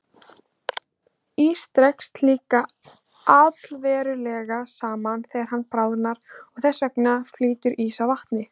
Ís dregst líka allverulega saman þegar hann bráðnar og þess vegna flýtur ís á vatni.